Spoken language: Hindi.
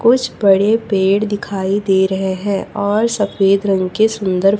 कुछ बड़े पेड़ दिखाई दे रहे हैं और सफेद रंग के सुंदर--